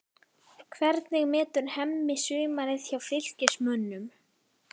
Hvernig metur Hemmi sumarið hjá Fylkismönnum?